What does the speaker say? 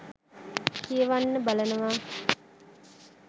කියවන්න බලනවා.